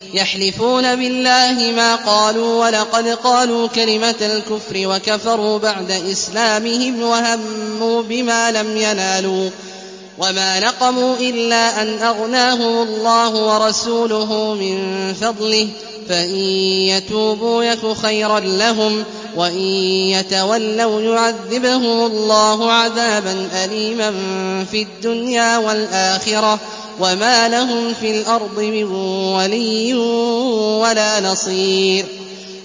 يَحْلِفُونَ بِاللَّهِ مَا قَالُوا وَلَقَدْ قَالُوا كَلِمَةَ الْكُفْرِ وَكَفَرُوا بَعْدَ إِسْلَامِهِمْ وَهَمُّوا بِمَا لَمْ يَنَالُوا ۚ وَمَا نَقَمُوا إِلَّا أَنْ أَغْنَاهُمُ اللَّهُ وَرَسُولُهُ مِن فَضْلِهِ ۚ فَإِن يَتُوبُوا يَكُ خَيْرًا لَّهُمْ ۖ وَإِن يَتَوَلَّوْا يُعَذِّبْهُمُ اللَّهُ عَذَابًا أَلِيمًا فِي الدُّنْيَا وَالْآخِرَةِ ۚ وَمَا لَهُمْ فِي الْأَرْضِ مِن وَلِيٍّ وَلَا نَصِيرٍ